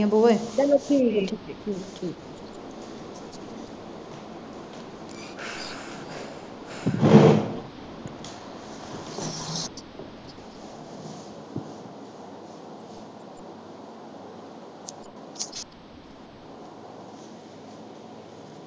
ਚੱਲੋ ਠੀਕ ਠੀਕ ਠੀਕ